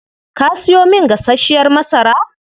Kaa siyo min gasashiyar masara?